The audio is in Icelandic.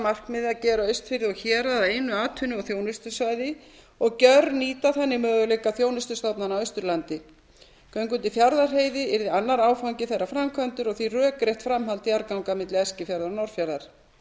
markmiði að gera austfirði og hérað að einu atvinnu og þjónustusvæði og gjörnýta þannig möguleika þjónustustofnana á austurlandi göng undir fjarðarheiði yrðu annar áfangi þeirrar framkvæmdar og því rökrétt framhald jarðganga milli eskifjarðar og norðfjarðar það